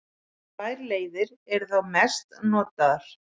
tvær leiðir eru þá mest notaðar